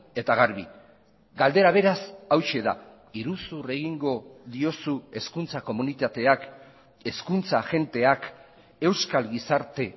eta garbi galdera beraz hauxe da iruzur egingo diozu hezkuntza komunitateak hezkuntza agenteak euskal gizarte